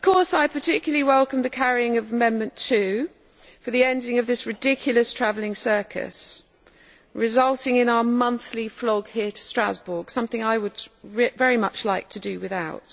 I particularly welcome the carrying of Amendment 2 for the ending of this ridiculous travelling circus that results in our monthly flog here to Strasbourg something which I would very much like to do without.